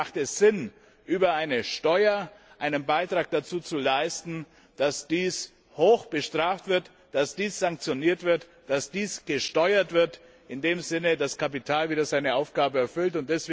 Deswegen macht es Sinn, über eine Steuer einen Beitrag dazu zu leisten, dass dies hoch bestraft wird, dass dies sanktioniert wird, dass dies in dem Sinne gesteuert wird, dass das Kapital wieder seine Aufgabe erfüllt.